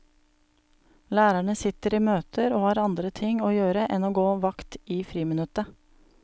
Lærerne sitter i møter og har andre ting å gjøre enn å gå vakt i friminuttet.